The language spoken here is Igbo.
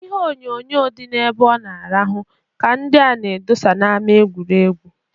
Ihe onyoonyoo dị n'ebe ọ na-arahụ ha ka nke a na-edosa na-ama egwuregwu.